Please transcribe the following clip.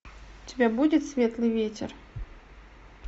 у тебя будет светлый ветер